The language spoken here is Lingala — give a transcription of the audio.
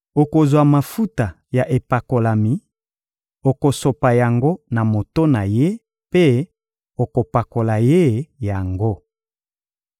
Okozwa mafuta ya epakolami, okosopa yango na moto na ye mpe okopakola ye yango.